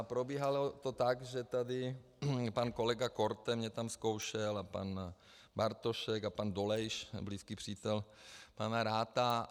A probíhalo to tak, že tady pan kolega Korte mě tam zkoušel a pan Bartošek a pan Dolejš, blízký přítel pana Ratha.